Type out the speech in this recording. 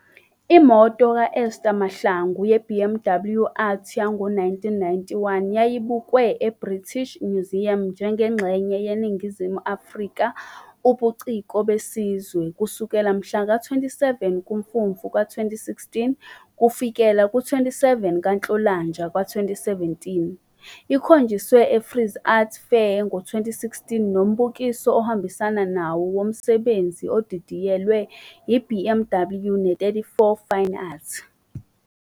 Imoto ka-Esther Mahlangu ye-BMW Art yango-1991 yayibukwe eBritish Museum njengengxenye 'yeNingizimu Afrika- ubuciko besizwe', kusukela mhla ka-27 kuMfumfu ka-2016, kufikela ku-27 kaNhlolanja ka-2017. Ikhonjiswe eFrieze Art Fair ngo-2016 nombukiso ohambisana nawo womsebenzi odidiyelwe I-BMW ne-34FineArt.